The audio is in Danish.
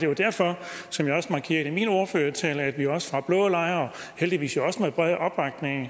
jo derfor som jeg også markerede i min ordførertale at vi også fra blå lejr heldigvis med bred opbakning